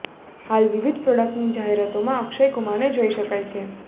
હાલ વિવિધ પ્રોડક્ટની જાહેરાતોમાં અક્ષય કુમારને જોઈ શકાય છે